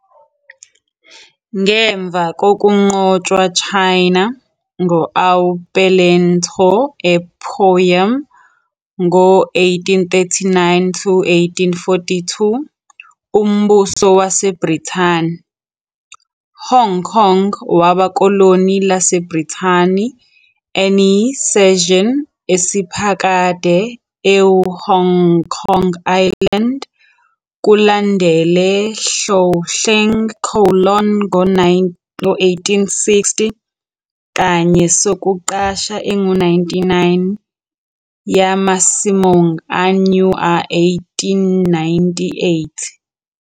Ngemva kokunqotshwa China Ngo oa Pele Ntoa ea Opium, ngo-1839 to 1842, uMbuso waseBrithani, Hong Kong waba koloni laseBrithani NE cession esiphakade ea Hong Kong Island, kulandele Hloahloeng Kowloon Ngo 1860 kanye sokuqasha engu-99 ya masimong a New a 1898.